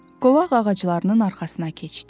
Qovaq ağaclarının arxasına keçdi.